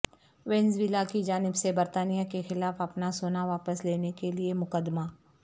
Venezuela کی جانب سے برطانیہ کے خلاف اپنا سونا واپس لینے کے لیے مقدمہ